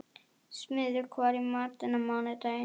Smiður, hvað er í matinn á mánudaginn?